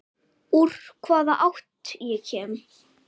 Úr hvaða átt ég kem.